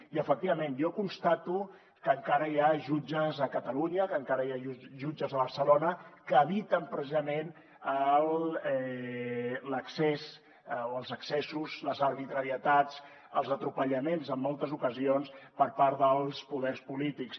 i efectivament jo constato que encara hi ha jutges a catalunya que encara hi ha jutges a barcelona que eviten precisament els excessos les arbitrarietats els abusos en moltes ocasions per part dels poders polítics